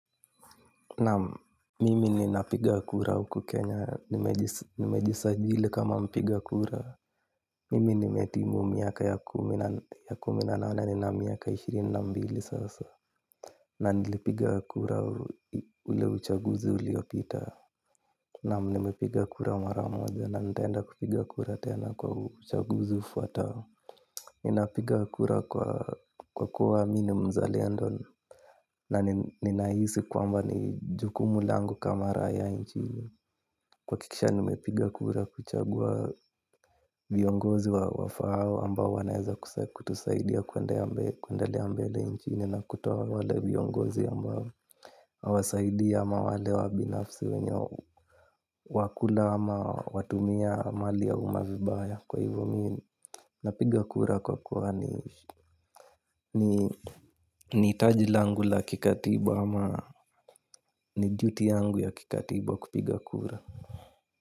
Naam, mimi ninapiga kura uku Kenya. Nimejisajili kama mpiga kura. Mimi nimetimu miaka ya kumi na nane ni na miaka ishirini na mbili sasa. Na nilipiga kura ule uchaguzi uliyopita. Naam, nimipiga kura maramoja. Na nitaenda kupiga kura tena kwa uchaguzi ufwatao. Nina piga kura kwa kuwa mi ni mzalendo na ninahisi kwamba ni jukumu langu kama raiya inchini kwa hakikisha nime piga kura kuchagua viongozi wa wafaao ambao wanaeza kutusaidia kuendelea mbele inchini. Na kutoa wale viongozi ambao hawasaidi ama wale wabinafsi wenye wakula ama watumia mali ya umma vibaya kwa hivo mi napiga kura kwa kuwa ni ni hitaji langu la kikatiba ama ni duty yangu ya kikatiba kupiga kura.